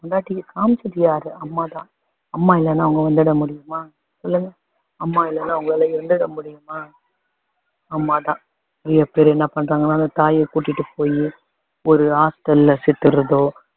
பொண்டாட்டிக்கு காமிச்சது யாரு அம்மா தான் அம்மா இல்லன்னா அவங்க வந்துட‌ முடியுமா சொல்லுங்க அம்மா இல்லன்னா உங்களால இருந்துட முடியுமா அம்மா தான் நிறைய பேர் என்ன பண்றாங்கன்னா அந்த தாயைக் கூட்டிட்டு போயி ஒரு hostel ல சேத்துர்றதோ